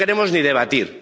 No queremos ni debatir.